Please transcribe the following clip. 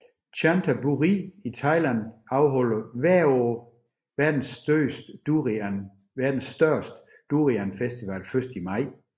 Chantaburi i Thailand afholder hvert år verdens største durian festival først i maj